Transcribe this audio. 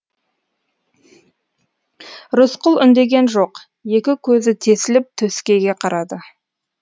рысқұл үндеген жоқ екі көзі тесіліп төскейге қарады